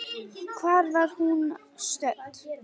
Hvar var hún stödd?